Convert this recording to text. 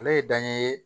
Ale ye dan ye